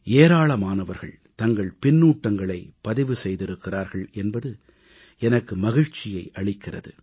ஏராளமானவர்கள் தங்கள் பின்னூட்டங்களைப் பதிவு செய்திருக்கிறார்கள் என்பது எனக்கு மகிழ்ச்சியை அளிக்கிறது